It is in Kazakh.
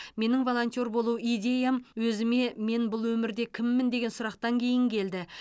менің волонтер болу идеям өзіме мен бұл өмірде кіммін деген сұрақтан кейін келді